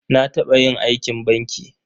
Na taɓa yin aikin banki.